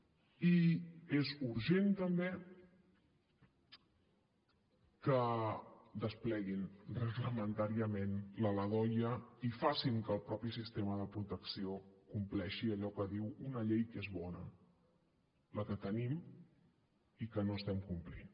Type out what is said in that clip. i és urgent també que despleguin reglamentàriament la ldoia i facin que el mateix sistema de protecció compleixi allò que diu una llei que és bona la que tenim i que no estem complint